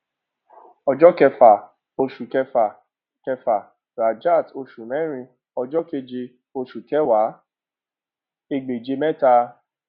ọjọ kẹfà oṣù kẹfà kẹfà rajat oṣù mẹrin ọjọ keje oṣù kẹwàá ẹgbèje mẹta